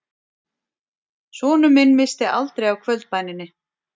Sonur minn missti aldrei af kvöldbæninni